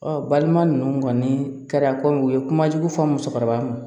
Ɔ balima ninnu kɔni kɛra kɔmi u ye kuma jugu fɔ musokɔrɔba ma